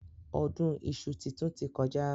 Ọdún iṣu titun ti kọjá.